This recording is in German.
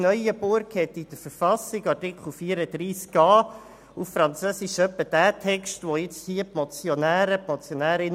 Neuenburg hat in etwa denselben Artikel, wie ihn hier die Motionärinnen und Motionäre fordern, auf Französisch im Artikel 34a in die Verfassung integriert.